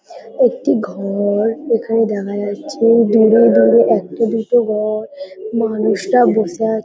একটি ঘ-ও-র। এখানে দেখা যাচ্ছে দূরে দূরে একটা দুটো ঘ-ও-র। মানুষরা বসে আ--